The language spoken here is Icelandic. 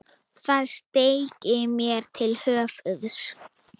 Það steig mér til höfuðs.